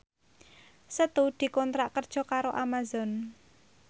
Setu dikontrak kerja karo Amazon